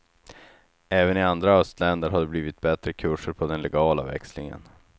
Även i andra östländer har det blivit bättre kurser på den legala växlingen.